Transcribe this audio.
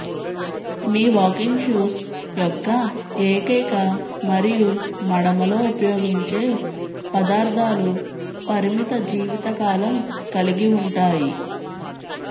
మీ walking shoes యొక్క ఏకైక మరియు మడమలో ఉపయోగించే పదార్థాలు పరిమిత జీవితకాలం కలిగి ఉంటాయి